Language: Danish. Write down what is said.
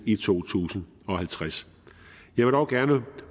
i to tusind og halvtreds jeg vil dog gerne